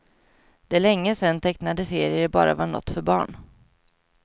Det är länge sedan tecknade serier bara var något för barn.